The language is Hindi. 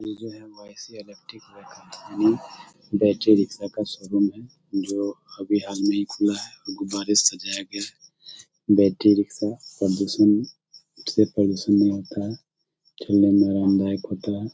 ये है वाई.सी. इलेक्ट्रिक बैटरी रिक्शा का शोरूम है जो अभी हाल ही मे खुला है गुब्बारे से सजाया गया है बैट्री रिक्शा प्रदूषण से प्रदूषण नहीं होता है खेलने मे आरामदायक होता है ।